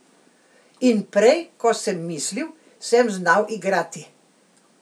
In prej, kot sem mislil, sem znal igrati.